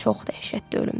Çox dəhşətli ölümdü.